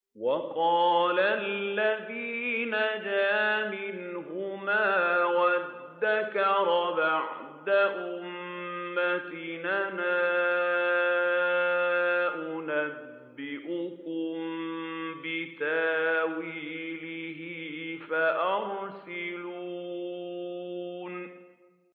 وَقَالَ الَّذِي نَجَا مِنْهُمَا وَادَّكَرَ بَعْدَ أُمَّةٍ أَنَا أُنَبِّئُكُم بِتَأْوِيلِهِ فَأَرْسِلُونِ